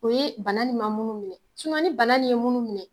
O ye bana nin ma munnu minɛ sinɔn ni bana nin ye munnu minɛ